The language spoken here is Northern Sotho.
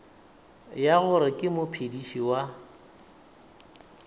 ya gore ke mophediši wa